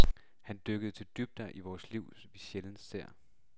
Han dykker til dybder i vores liv, vi sjældent ser.